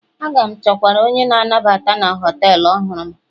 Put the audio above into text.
A ga m chọkwuru onye nnabata na họtelu ọhụrụ m